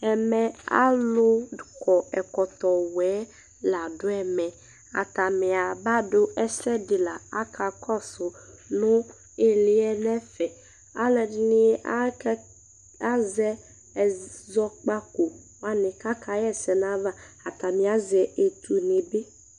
Ɛmɛ alu kɔ ɛkɔtɔ wɛ la ɖu ɛmɛ Atanɩ aba ɖu ɛsɛ ɖɩ la Aka kɔsu nu ɩlɩ yɛ nɛfɛ Alu ɛɖɩ nɩ aka azɛ ɛzɔ kpaku wanɩ kaka ɣɛ sɛ nu ayava Atanɩ azɛ etu nɩ bɩ